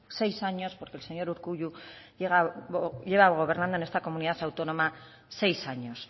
seis años porque el señor urkullu lleva gobernando en esta comunidad autónoma seis años